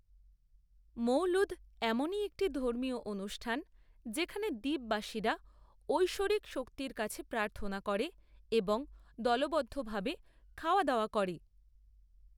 মৌলুদ এমনই একটি ধর্মীয় অনুষ্ঠান যেখানে দ্বীপবাসীরা ঐশ্বরিক শক্তির কাছে প্রার্থনা করে এবং দলবদ্ধভাবে খাওয়াদাওয়া করে।